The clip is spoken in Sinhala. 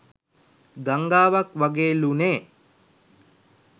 ගංගාවක් වගේ ලු නේ